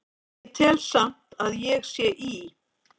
Ég tel samt að ég sé í